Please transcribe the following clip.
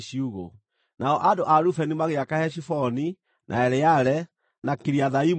Nao andũ a Rubeni magĩaka Heshiboni, na Eleale, na Kiriathaimu rĩngĩ,